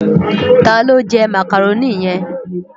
Tá ló jè Mákároni yen?